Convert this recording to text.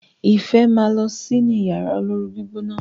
ifẹ má ló si ní Yàrá olóoru-gbígbóná.